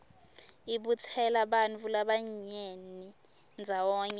ibutsela bantfu labanyeni ndzawonye